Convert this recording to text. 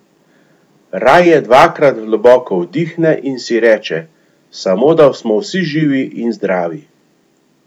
Raje dvakrat globoko vdihne in si reče: "Samo, da smo vsi živi in zdravi.